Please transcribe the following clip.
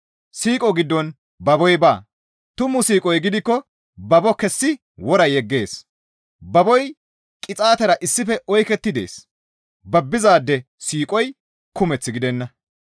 Siiqo giddon baboy baa; tumu siiqoy gidikko babo kessi wora yeggees; baboy qixaatera issife oyketti dees; babbizaade siiqoy kumeth gidenna.